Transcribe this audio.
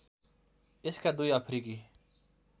यसका दुई अफ्रिकी